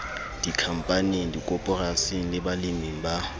dikhampaning dikoporasing le baleming ba